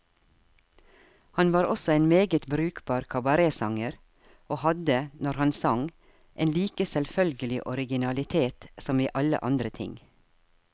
Han var også en meget brukbar kabaretsanger, og hadde, når han sang, en like selvfølgelig originalitet som i alle andre ting.